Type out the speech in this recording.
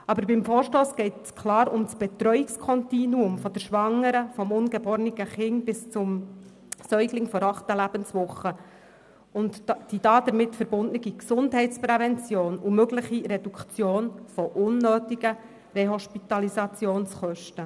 Aber in diesem Vorstoss geht es klar um das Betreuungskontinuum der Schwangeren, des ungeborenen Kindes bis hin zum Säugling in der achten Lebenswoche sowie um die damit verbundene Gesundheitsprävention und um die mögliche Reduktion von unnötigen Rehospitalisationskosten.